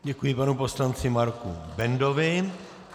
Děkuji panu poslanci Marku Bendovi.